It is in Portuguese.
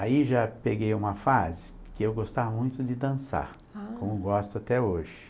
Aí já peguei uma fase que eu gostava muito de dançar, ah, como gosto até hoje.